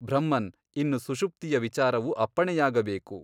ಬ್ರಹ್ಮನ್ ಇನ್ನು ಸುಷುಪ್ತಿಯ ವಿಚಾರವು ಅಪ್ಪಣೆಯಾಗಬೇಕು.